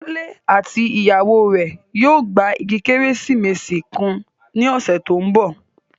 Kunle àti ìyàwó rẹ̀ yóò gba igi Kérésìmesì kan ní ọ̀sẹ̀ tó ń bọ̀